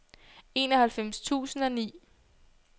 enoghalvfems tusind og ni